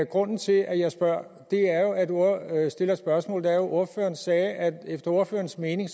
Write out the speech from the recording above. grunden til at jeg stiller et spørgsmål er at ordføreren sagde at efter ordførerens mening